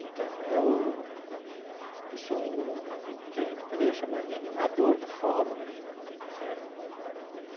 Então, eu eu sou o que a gente poderia chamar de animador do fórum né, certo?